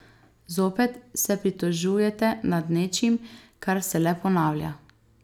Zopet se pritožujete nad nečim, kar se le ponavlja.